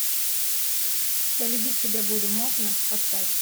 я любить тебя буду можно поставь